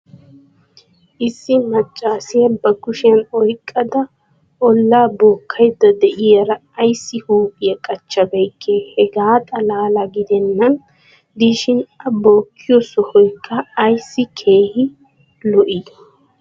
Issi maccaassiya ba kushiyan oyqqada olaa bookkaydda diyaara ayssi huuphiya qaccabeykkee? hegaa xalaala gidennan diishshin a bookkiyo sohoykka ayssi keehi lo'ii?